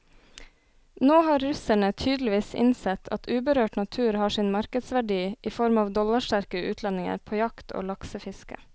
Nå har russerne tydeligvis innsett at uberørt natur har sin markedsverdi i form av dollarsterke utlendinger på jakt og laksefiske.